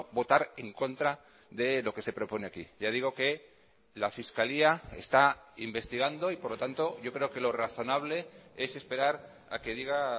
votar en contra de lo que se propone aquí ya digo que la fiscalía está investigando y por lo tanto yo creo que lo razonable es esperar a que diga